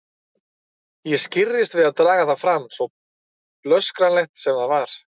Ég skirrist við að draga það fram, svo blöskranlegt sem það er.